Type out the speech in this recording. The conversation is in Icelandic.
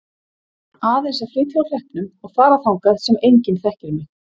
Aðeins að flytja úr hreppnum og fara þangað sem enginn þekkir mig.